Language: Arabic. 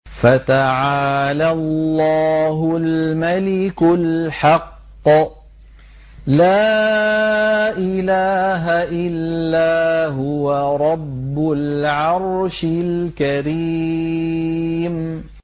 فَتَعَالَى اللَّهُ الْمَلِكُ الْحَقُّ ۖ لَا إِلَٰهَ إِلَّا هُوَ رَبُّ الْعَرْشِ الْكَرِيمِ